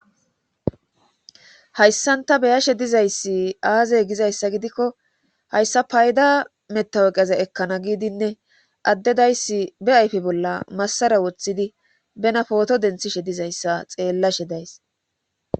Hayssanta beyashe dizayssi aazey gizayssa gidikko hayssa payda metaweqeze ekkana giidinne addedayssi be ayfe bolla massara woththidi bena pooto denthishe dizayssa xeellashe days.